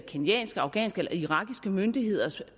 kenyanske afghanske eller irakiske myndigheders